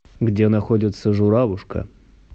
где находится журавушка